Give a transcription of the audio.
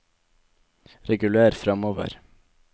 reguler framover